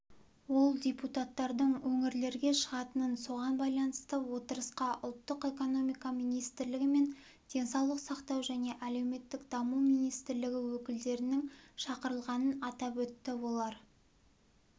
ол депутаттардың өңірлерге шығатынын соған байланысты отырысқа ұлттық экономика министрлігі мен денсаулық сақтау және әлеуметтік даму министрлігі өкілдерінің шақырылғанын атап өтті олар